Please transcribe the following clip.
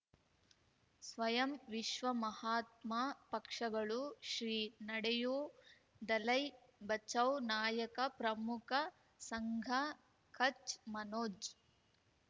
ಸ್ವಯಂ ವಿಶ್ವ ಮಹಾತ್ಮ ಪಕ್ಷಗಳು ಶ್ರೀ ನಡೆಯೂ ದಲೈ ಬಚೌ ನಾಯಕ ಪ್ರಮುಖ ಸಂಘ ಕಚ್ ಮನೋಜ್